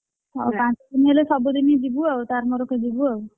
ହଉ ପାଞ୍ଚ ଦିନ ହେଲେ ସବୁ ଦିନ ଯିବୁ ଆଉ ତାର ମୋର ଯିବୁ ଆଉ,